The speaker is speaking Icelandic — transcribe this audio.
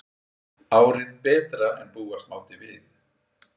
Árið betra en búast mátti við